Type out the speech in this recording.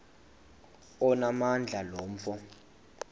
onamandla lo mfo